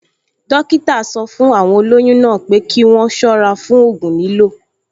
Dọ́kítà sọ fún àwọn olóyún náà pé kí wọ́n ṣọ́ra fún ògùn lílò